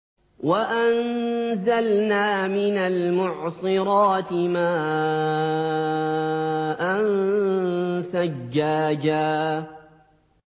وَأَنزَلْنَا مِنَ الْمُعْصِرَاتِ مَاءً ثَجَّاجًا